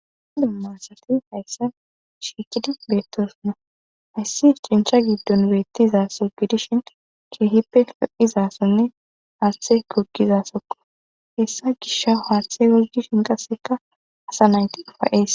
dumma asati hayssa shiikidi beettosonna hayssi cincha giddon beettizaso gidishin keehippe fe7izasonne haaththe kogizasokko hessa gisha haashthe wozdi shinqaseka asa naynti ifayees